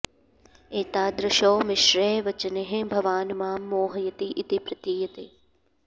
एतादृशैः मिश्रैः वचनैः भवान् मां मोहयति इति प्रतीयते